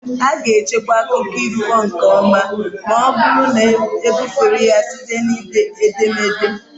A ga-echekwa akụkọ ifo nke ọma ma ọ bụrụ na ebufere ya site na ederede.